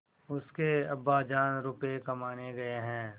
उसके अब्बाजान रुपये कमाने गए हैं